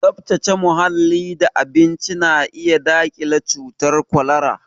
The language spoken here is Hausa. Tsaftace muhalli da abinci na iya daƙile cutar kwalara